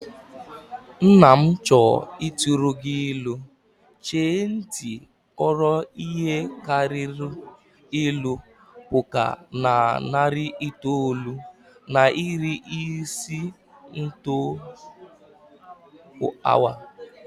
Nna m chọọ ịtụrụ gị ilu, chee ntị ghọrọ ihe karịrị ilu puku na narị itoolu na iri ise n'otu awa